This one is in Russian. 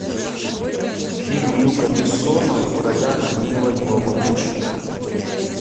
фильм люка бессона в ролях мила йовович